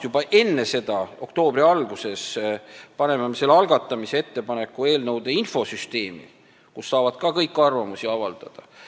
Juba enne seda, oktoobri alguses, paneme me selle algatamise ettepaneku eelnõude infosüsteemi, kus saavad ka kõik arvamust avaldada.